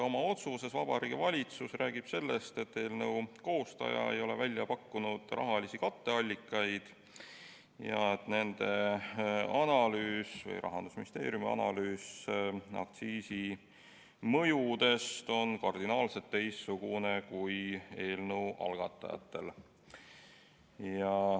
Oma otsuses Vabariigi Valitsus räägib sellest, et eelnõu koostaja ei ole välja pakkunud rahalisi katteallikaid ja et Rahandusministeeriumi analüüs aktsiisi mõjust on kardinaalselt teistsugune kui eelnõu algatajatel.